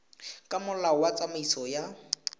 ka molao wa tsamaiso ya